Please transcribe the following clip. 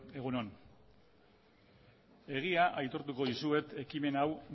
egun on egia aitortuko dizuet ekimen hau